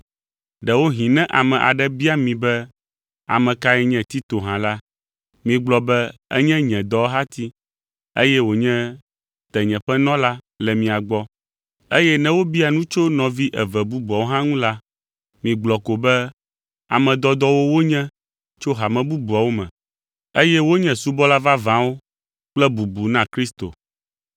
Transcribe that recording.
Ɖewohĩ ne ame aɖe bia mi be ame kae nye Tito hã la, migblɔ be enye nye dɔwɔhati, eye wònye tenyeƒenɔla le mia gbɔ. Eye ne wobia nu tso nɔvi eve bubuawo hã ŋu la, migblɔ ko be ame dɔdɔwo wonye tso hame bubuawo me, eye wonye subɔla vavãwo kple bubu na Kristo.